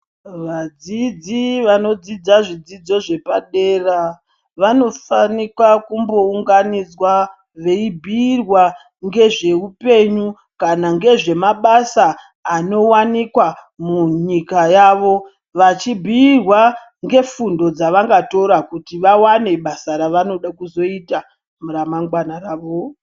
Vadzidzi vanodzidza zvidzidzo zvepadera vanofanikwa kumbounganidzwa veibhuirwa ngezveupenyu kana ngezvemabasa anovanikwa munyika yavo. Vachibhuirwa ngefundo dzavangatora kuti vavane basa ravanoda kuzoita ramangwana ravo.